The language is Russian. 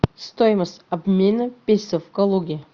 стоимость обмена песо в калуге